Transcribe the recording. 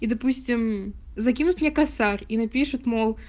и допустим закинут мне косарь и напишут мол